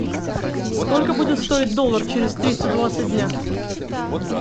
сколько будет стоить доллар через триста двадцать дня